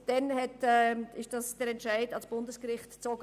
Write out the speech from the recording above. Daraufhin wurde dieser Entscheid vor das Bundesgericht gezogen.